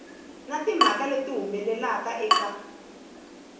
na timhaka leti humelelaka eka